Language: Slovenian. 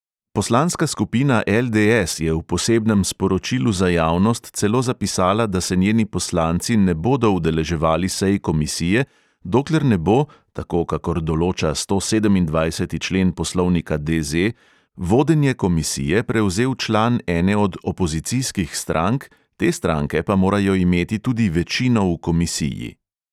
Poslanska skupina LDS je v posebnem sporočilu za javnost celo zapisala, da se njeni poslanci ne bodo udeleževali sej komisije, dokler ne bo, tako kakor določa stosedemindvajseti člen poslovnika DZ, vodenje komisije prevzel član ene od opozicijskih strank, te stranke pa morajo imeti tudi večino v komisiji.